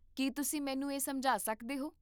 ਕੀ ਤੁਸੀਂ ਮੈਨੂੰ ਇਹ ਸਮਝਾ ਸਕਦੇ ਹੋ?